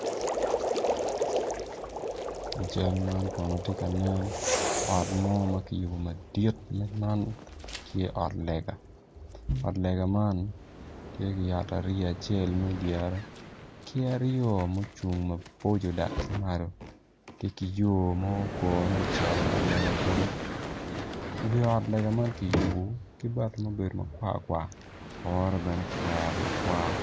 I cal man kono tye ka nen ot mo ma kiyubo madit ma man tye ot lega ot lega man, tye ki yat ariya acel me dyere ki aryo mucung maboco dok ki malo tye ki yo ma okone ocito i ot lega kunu wi ot lega man kiyubo ki bati ma obedo makwar kwar kore bene kiwero makwar.